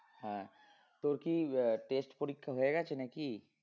হ্যাঁ তোর কি আহ test পরীক্ষা হয়ে গেছে নাকি?